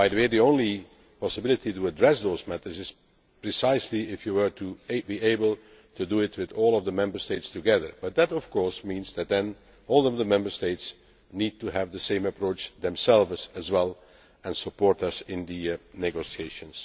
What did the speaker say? The only possibility of addressing those matters is precisely if you were able to do it with all of the Member States together, but that of course means that all of the Member States would need to have the same approach themselves and support us in the negotiations.